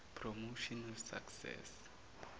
promotion of access